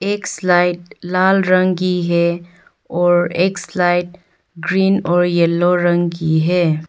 एक स्लाइड लाल रंग की है एक स्लाइड ग्रीन और येलो रंग की है।